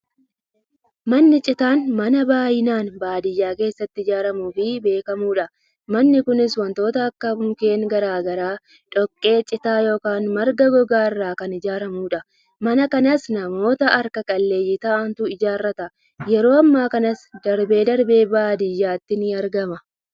Manni citaan, Mana baay'inaan baadiyaa keessatti ijaaramuufi beekamuudha. Manni Kunis, wantoota akka; Mukkeen garaagaraa, dhoqqee, citaa yookin Marga gogaa irraa kan ijaaramuudha. Mana kanas, namoota harka qalleeyyii ta'antu ijaarata. Yeroo ammaa kanas darbee darbee baadiyyaatti ni argama